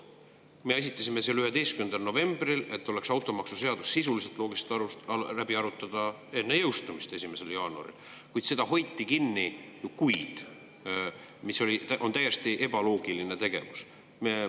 Me esitasime selle 11. novembril, et oleks automaksuseadus sisuliselt, loogiliselt läbi arutada enne jõustumist 1. jaanuaril, kuid seda hoiti kinni kuid, mis on täiesti ebaloogiline tegevus.